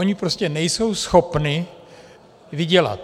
Ony prostě nejsou schopny vydělat.